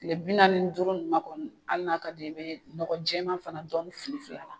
Tile bi naani ni duuru ninnu na kɔni hali n'a ka d'i ye i bɛ nɔgɔ jɛman fana dɔɔni filifili a la